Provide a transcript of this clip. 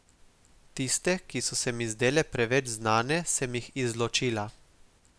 Tiste, ki so se mi zdele preveč znane, sem jih izločila.